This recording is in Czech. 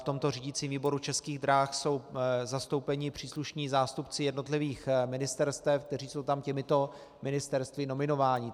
V tomto řídicím výboru Českých drah jsou zastoupeni příslušní zástupci jednotlivých ministerstev, kteří jsou tam těmito ministerstvy nominováni.